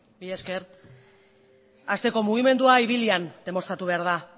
mila esker hasteko mugimendua ibilian demostratu behar da